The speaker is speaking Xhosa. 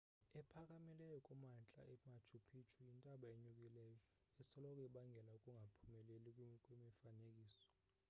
ephakamileyo kumantla emachu picchu yintaba enyukileyo esoloko ibangela ukungaphumeleli kwemifanekiso